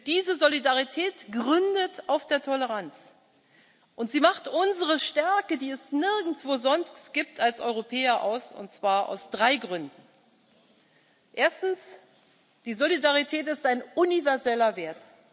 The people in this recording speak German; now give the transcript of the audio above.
Diese Solidarität gründet auf der Toleranz, und sie macht unsere Stärke, die es nirgendwo sonst gibt, als Europäer aus, und zwar aus drei Gründen Erstens Die Solidarität ist ein universeller Wert.